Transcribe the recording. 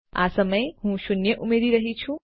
આ સમયે હું શૂન્ય ઉમેરી રહ્યી છું